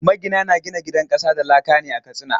Magina na gina gidan ƙasa da laka ne a Katsina.